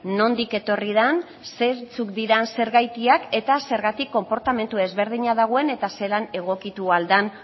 nondik etorri den zeintzuk diren zergatiak eta zergatik konportamentu desberdina dagoen eta zelan egokitu ahal den